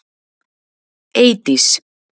Eydís